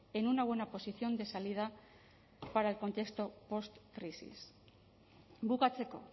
en una buena posición de salida para el contexto postcrisis bukatzeko